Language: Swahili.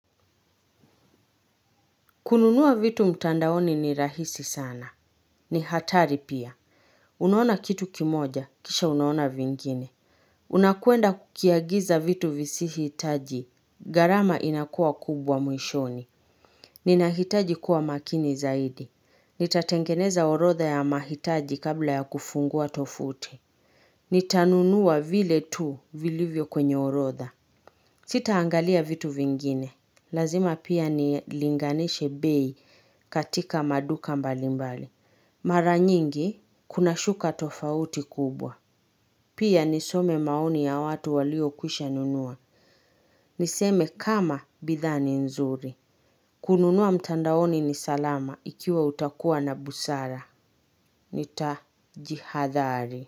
Kununua vitu mtandaoni ni rahisi sana. Ni hatari pia. Unaona kitu kimoja, kisha unaona vingine. Unakwenda kukiagiza vitu visihitaji. Gharama inakuwa kubwa mwishoni. Ninahitaji kuwa makini zaidi. Nitatengeneza orodha ya mahitaji kabla ya kufungua tovuti. Nitanunua vile tu vilivyo kwenye orotha. Sitaangalia vitu vingine. Lazima pia nilinganishe bei katika maduka mbalimbali. Mara nyingi kunashuka tofauti kubwa. Pia nisome maoni ya watu waliokwisha nunua. Niseme kama bidhaa ni nzuri. Kununua mtandaoni ni salama ikiwa utakuwa na busara. Nitajihadhari.